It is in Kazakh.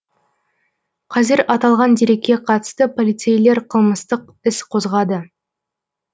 қазір аталған дерекке қатысты полицейлер қылмыстық іс қозғады